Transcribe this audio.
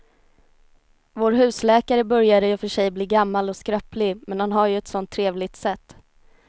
Vår husläkare börjar i och för sig bli gammal och skröplig, men han har ju ett sådant trevligt sätt!